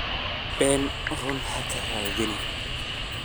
Ben run hakaradhinin .